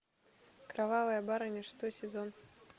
кровавая барыня шестой сезон